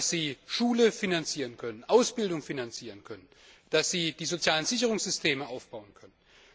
Dass sie Schulen und Ausbildung finanzieren können, dass sie die sozialen Sicherungssysteme aufbauen können.